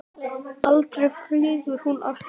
Aldrei flýgur hún aftur